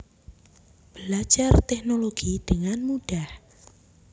Belajar Teknologi dengan Mudah